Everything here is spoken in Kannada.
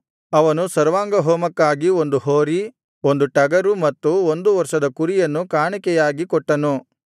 ಅವನು ಸರ್ವಾಂಗಹೋಮಕ್ಕಾಗಿ ಒಂದು ಹೋರಿ ಒಂದು ಟಗರು ಮತ್ತು ಒಂದು ವರ್ಷದ ಕುರಿಯನ್ನು ಕಾಣಿಕೆಯಾಗಿ ಕೊಟ್ಟನು